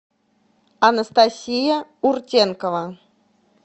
анастасия уртенкова